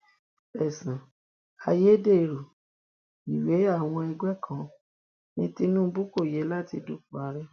ẹsùn ayédèrú ìwée àwọn ẹgbẹ kan ní tinubu kò yẹ láti dúpọ ààrẹ